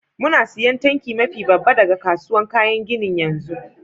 Muna siyan tanki mafi babba daga kasuwan kayan ginin yanzu.